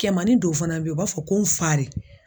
Kɛmani dow fana be ye u b'a fɔ ko n fa re